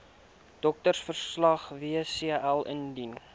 doktersverslag wcl indien